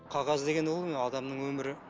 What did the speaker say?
қағаз деген ол не адамның өмірі